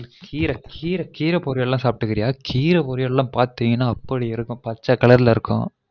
கீர கீர கீர பொறியல் எல்லான் சாப்டுருக்கியா கீர பொரியல் எல்லான் பாத்தீங்கனா அ